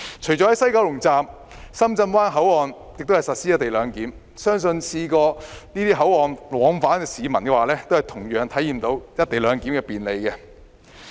除了西九龍站，深圳灣口岸亦實施"一地兩檢"，相信曾在這些口岸往返香港的市民，同樣體驗到"一地兩檢"的便利。